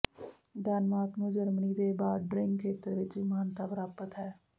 Denmark ਨੂੰ Germany ਦੇ bordering ਖੇਤਰ ਵਿੱਚ ਵੀ ਮਾਨਤਾ ਪ੍ਰਾਪਤ ਹੈ